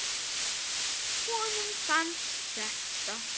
Honum fannst þetta.